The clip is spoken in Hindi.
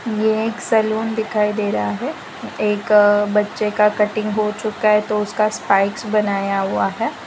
ये एक सैलून दिखाई दे रहा है एक बच्चे का कटिंग हो चुका है तो उसका बनाया हुआ है।